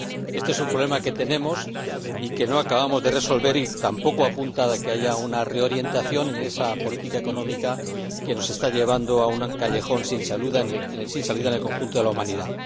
Este es un problema que tenemos y que no acabamos de resolver, y nada apunta a que haya una reorientación en esa política económica que nos está llevando a un callejón sin salida en el conjunto de la humanidad.